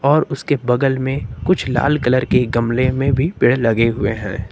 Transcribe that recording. और उसके बगल में कुछ लाल कलर के गमले में भी पेड़ लगे हुए हैं।